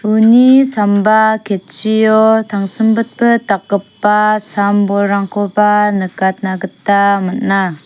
uni samba ketchio tangsimbitbit dakgipa sam-bolrangkoba nikatna gita man·a.